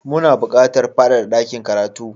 Muna buƙatar fadada dakin karatu